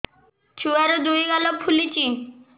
ଛୁଆର୍ ଦୁଇ ଗାଲ ଫୁଲିଚି